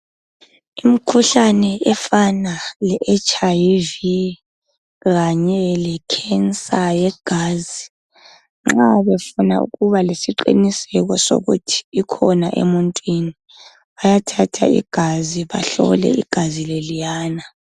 Imkhuhlane efana le hiv kanye lekhensa yegazi nxa befuna ukuba lesiqiniseko sokuthi ikhona emuntwini bayathatha igazi bahlole igazi leliyana.